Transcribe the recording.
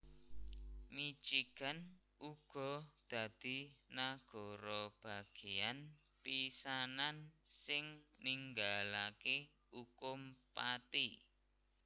Michigan uga dadi nagara bagéyan pisanan sing ninggalaké ukum pati